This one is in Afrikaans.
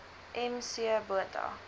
m c botha